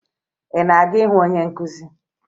Ị na-aga ịhụ onye nkụzi?